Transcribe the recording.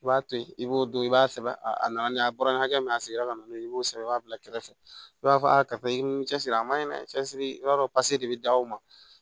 I b'a to yen i b'o don i b'a sɛbɛn a na na ni a bɔra ni hakɛ min ye a sigira ka n'o ye i b'o sɛbɛn i b'a bila kɛrɛfɛ i b'a fɔ karisa i ni cɛsiri a man ɲi dɛ n cɛ siri i b'a dɔn pase de bɛ da o ma